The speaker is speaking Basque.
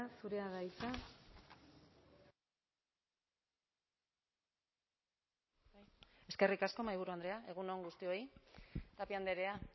zurea da hitza eskerrik asko mahaiburu andrea egun on guztioi tapia andrea